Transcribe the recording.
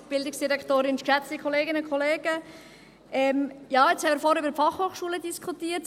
Ja, jetzt haben wir vorhin über die Fachhochschulen diskutiert.